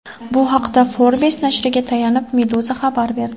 Bu haqda Forbes nashriga tayanib Meduza xabar berdi.